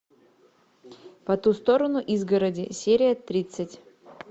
по ту сторону изгороди серия тридцать